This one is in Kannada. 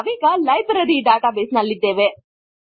ನಾವೀಗ ಲೈಬ್ರರಿ ಡಾಟಾ ಬೇಸ್ ನಲ್ಲಿದ್ದೇವೆ